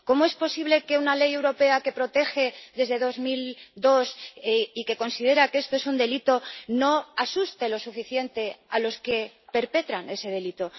¿Cómo es posible que una ley europea que protege desde el año 2002 y que considera que esto es un delito no asuste lo suficiente a los que perpetran ese delito?